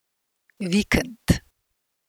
Vikend.